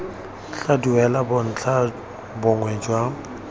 tla duela bontlha bongwe jwa